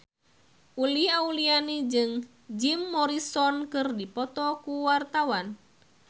Uli Auliani jeung Jim Morrison keur dipoto ku wartawan